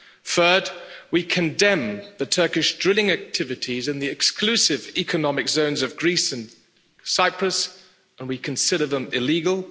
Third, we condemn the Turkish drilling activities in the exclusive economic zones of Greece and Cyprus, and we consider them illegal.